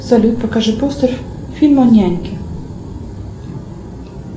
салют покажи постер фильма няньки